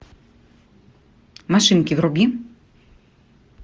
машинки вруби